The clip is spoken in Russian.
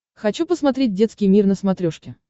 хочу посмотреть детский мир на смотрешке